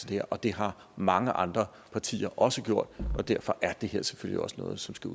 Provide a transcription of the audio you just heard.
det her og det har mange andre partier også gjort og derfor er det her selvfølgelig også noget som skal